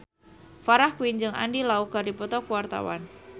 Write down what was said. Farah Quinn jeung Andy Lau keur dipoto ku wartawan